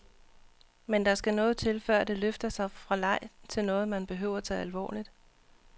Men der skal noget til, før det løfter sig fra leg til noget, man behøver tage alvorligt.